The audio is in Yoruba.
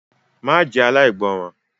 Má jẹ́ aláìgbọràn!